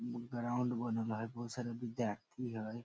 इ ग्राउंड बनल हेय बहुत सारा विद्यार्थी हेय।